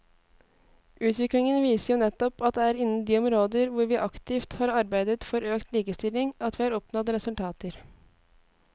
Utviklingen viser jo nettopp at det er innen de områder hvor vi aktivt har arbeidet for økt likestilling at vi har oppnådd resultater.